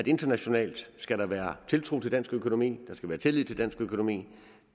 internationalt skal være tiltro til dansk økonomi der skal være tillid til dansk økonomi